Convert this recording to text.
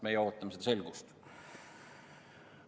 Me ootame selgust.